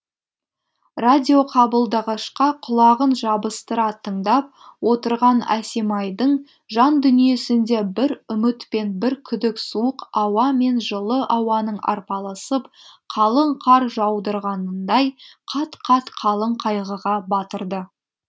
радиоқабылдағышқа құлағын жабыстыра тыңдап отырған әсемайдың жан дүниесінде бір үміт пен бір күдік суық ауа мен жылы ауаның арпалысып қалың қар жаудырғанындай қат қат қалың қайғыға батырды